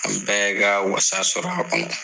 An bɛɛ ka walasa sɔrɔ a kɔnɔ